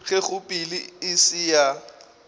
ge kgopelo e se ya